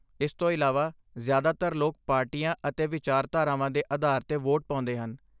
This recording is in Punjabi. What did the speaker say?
ਇਸ ਤੋਂ ਇਲਾਵਾ, ਜ਼ਿਆਦਾਤਰ ਲੋਕ ਪਾਰਟੀਆਂ ਅਤੇ ਵਿਚਾਰਧਾਰਾਵਾਂ ਦੇ ਆਧਾਰ 'ਤੇ ਵੋਟ ਪਾਉਂਦੇ ਹਨ।